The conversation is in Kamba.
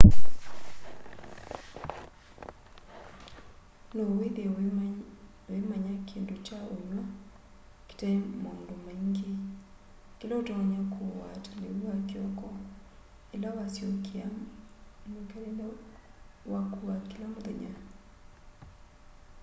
no withie wimanya kindu kya unywa kitai maundu maingi kila utonya kuua ta liu wa kiokoila wasyokea mwikalile waku wa kila muthenya